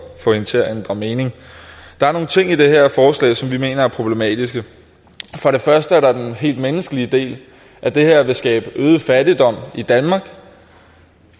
at få hende til at ændre mening der er nogle ting i det her forslag som vi mener er problematiske for det første er der den helt menneskelige del at det her vil skabe øget fattigdom i danmark